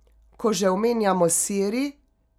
Ko že omenjamo Siri...